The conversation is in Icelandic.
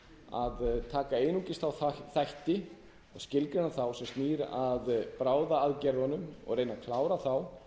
að taka einungis þá þætti skilgreina þá sem snúa að bráðaaðgerðunum og reyna að klára þá